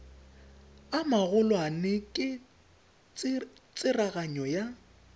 a magolwane ke tsereganyo ya